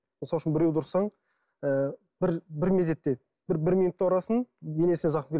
мысал үшін біреуді ұрсаң ы бір мезетте бір минутта ұрасың денесіне зақым